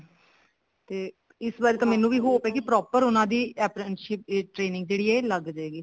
ਤੇ ਇਸ ਵਾਰੀ ਤਾਂ ਮੈਨੂੰ ਵੀ hope ਹੈ ਕੇ proper ਉਹਨਾ ਦੀ appreciate ਦੀ training ਜਿਹੜੀ ਹੈ ਲੱਗ ਜਾਏਗੀ